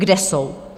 Kde jsou?